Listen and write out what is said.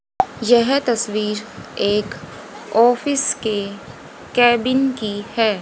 यह तस्वीर एक ऑफिस के कैबिन की है।